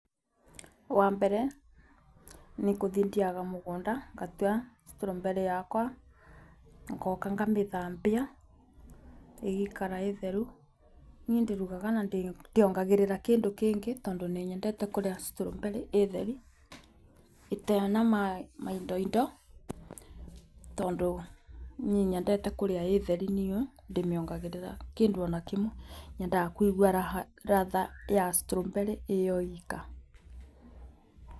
Wa mbere nĩ gũthiĩ thiaga mũgũnda ngatua strawberry yakwa, ngoka ngamĩthambia ĩgaikara ĩĩ theru. Niĩ ndirugaga na ndiongagĩrĩra kĩndũ kĩngĩ tondũ nĩ nyendete kũrĩa strawberry ĩĩ theri ĩtarĩ na maindo indo, tondũ niĩ nyendete kũrĩa ĩĩ theri niĩ ndimĩongagĩrĩra kĩndũ ona kĩmwe, nyendaga kũigwa ladha ya strawberry ĩyo yika.